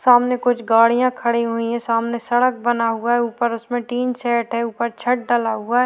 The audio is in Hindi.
सामने कुछ गाड़ियां खड़ी हुई है सामने सड़क बना हुआ है ऊपर उसमें टीन सेट है ऊपर छत डला हुआ --